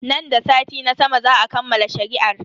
Nan da sati na sama za a kammala shari'ar.